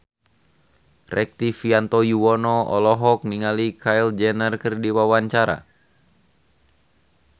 Rektivianto Yoewono olohok ningali Kylie Jenner keur diwawancara